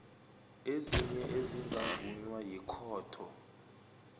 ezinye ezingavunywa yikhotho